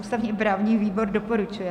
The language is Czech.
Ústavně-právní výbor doporučuje.